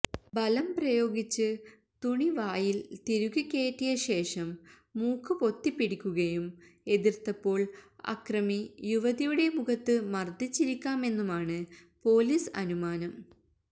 ബലം പ്രയോഗിച്ച് തുണിവായില്ത്തിരുകി കയറ്റിയ ശേഷം മൂക്കുപൊത്തിപ്പിടിക്കുകയും എതിര്ത്തപ്പോള് അക്രമി യുവതിയുടെ മുഖത്ത് മര്ദ്ദിച്ചിരിക്കാമെന്നുമാണ് പൊലീസ് അനുമാനം